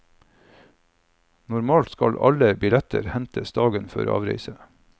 Normalt skal alle billetter hentes dagen før avreise.